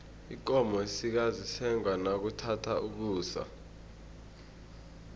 ikomo esikazi isengwa nakuthatha ukusa